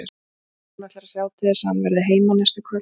En hún ætlar að sjá til þess að hann verði heima næstu kvöld.